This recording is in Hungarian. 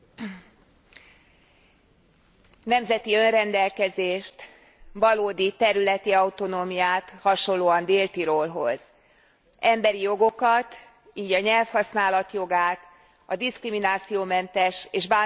Nemzeti önrendelkezést, valódi területi autonómiát hasonlóan Dél Tirolhoz emberi jogokat, így a nyelvhasználat jogát, a diszkriminációmentes és bántalmazásmentes élethez való jogot.